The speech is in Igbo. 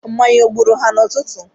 Mmanya ọ gburu ha n'ụtụtụ?